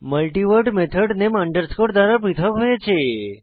মাল্টিভোর্ড method name underscore দ্বারা পৃথক হয়েছে